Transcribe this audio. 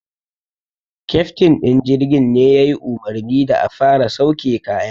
Keftin din jirgin ne ya yi umarni da a fara sauke kayan.